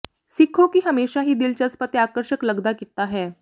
ਸਿੱਖੋ ਕਿ ਹਮੇਸ਼ਾ ਹੀ ਦਿਲਚਸਪ ਅਤੇ ਆਕਰਸ਼ਕ ਲੱਗਦਾ ਕੀਤਾ ਹੈ